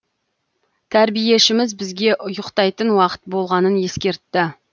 тәрбиешіміз бізге ұйықтайтын уақыт болғанын ескертті